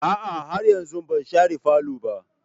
A'a, har yanzu ban share falo ba.